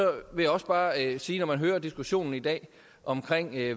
vil jeg også bare sige når man hører diskussionen i dag om